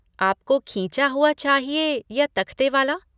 आपको खींचा हुआ चाहिए या तख्ते वाला।